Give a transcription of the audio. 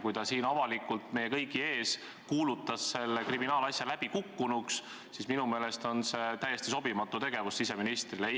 Kui ta siin avalikult meie kõigi ees kuulutas selle kriminaalasja läbikukkunuks, siis minu meelest oli see siseministrile täiesti sobimatu avaldus.